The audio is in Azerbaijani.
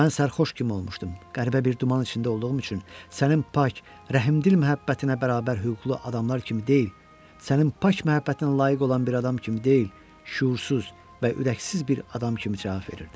Mən sərxoş kimi olmuşdum, qəribə bir duman içində olduğum üçün sənin pak, rəhmdil məhəbbətinə bərabər hüquqlu adamlar kimi deyil, sənin pak məhəbbətinə layiq olan bir adam kimi deyil, şüursuz və ürəksiz bir adam kimi cavab verirdim.